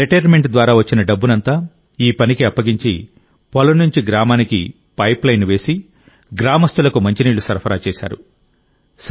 retirement ద్వారా వచ్చిన డబ్బునంతా ఈ పనికి అప్పగించి పొలం నుంచి గ్రామానికి పైప్లైన్ వేసి గ్రామస్తులకు మంచినీళ్లు సరఫరా చేశారు